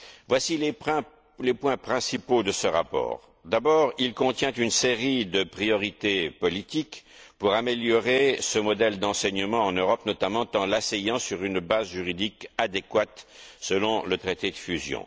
Voici les points principaux de ce rapport d'abord, il contient une série de priorités politiques pour améliorer ce modèle d'enseignement en Europe, notamment en l'asseyant sur une base juridique adéquate, selon le traité de fusion.